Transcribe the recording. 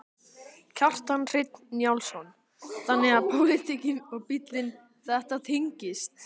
Kjartan Hreinn Njálsson: Þannig að pólitíkin og bílinn, þetta tengist?